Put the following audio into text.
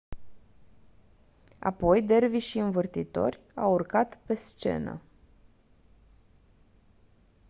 apoi dervișii învârtitori au urcat pe scenă